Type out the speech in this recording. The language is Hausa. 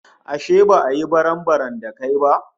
Ashe ba ya yi barambaram da kai ba?